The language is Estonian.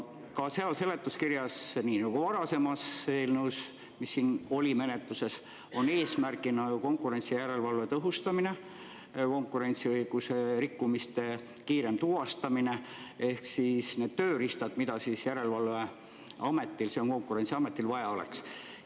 Ka seal seletuskirjas, nii nagu varasemas eelnõus, mis siin oli menetluses, on eesmärgina konkurentsijärelevalve tõhustamine, konkurentsiõiguse rikkumiste kiirem tuvastamine ehk siis need tööriistad, mida järelevalveametil ehk Konkurentsiametil vaja oleks.